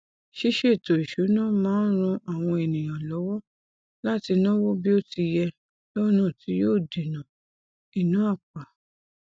ṣiṣètò ìṣúná máa n ran àwọn ènìyàn lọwọ láti náwó bí ó ti yẹ lọnà tí yóò dènà ìná àpà